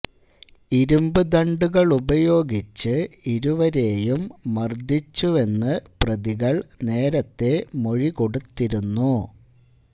ഇരുമ്പു ദണ്ഡുകളുപയോഗിച്ച് ഇരുവരേയും മര്ദിച്ചുവെന്ന് പ്രതികള് നേരത്തേ മൊഴി കൊടുത്തിരുന്നു